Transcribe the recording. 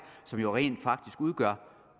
som jo rent faktisk udgør